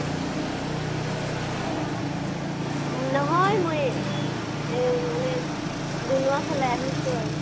নহয় মই, আ মানে ডুম্ডুমা ফালে আহি আছু আৰু